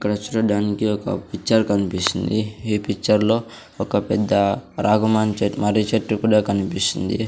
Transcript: ఇక్కడ చూడడానికి ఒక పిక్చర్ కనిపిస్తుంది ఈ పిక్చర్ లో ఒక పెద్ద రాగమని మర్రిచెట్టు కూడా కనిపిస్తుంది.